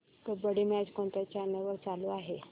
kabaddi match कोणत्या channel वर चालू आहे